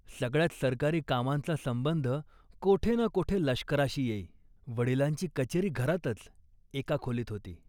सगळ्याच सरकारी कामांचा संबंध कोठे ना कोठे लष्कराशी येई. वडिलांची कचेरी घरातच, एका खोलीत होती